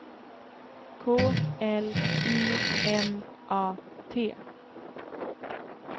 K L I M A T